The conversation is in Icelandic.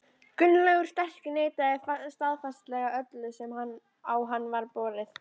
Gunnlaugur sterki neitaði staðfastlega öllu sem á hann var borið.